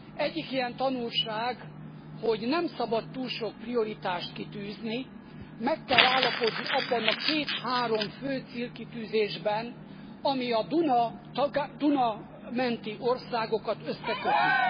Egyik ilyen tanulság, hogy nem szabad túl sok prioritást kitűzni, meg kell állapodni abban a két három fő célkitűzésben, ami a Duna menti országokat összeköti.